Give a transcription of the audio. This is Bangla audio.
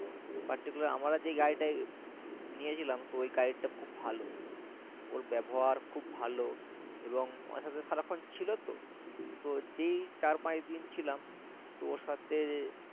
particular আমরা যে guide টা নিয়েছিলাম ওই guide টা খুব ভালো ওর ব্যবহার খুব ভালো এবং আমার সাথে সারাক্ষণ ছিল তো তো যেই চার পাঁচ দিন ছিলাম তো ওর সাথে